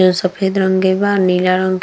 जो सफ़ेद रंग के बा नीला रंग के।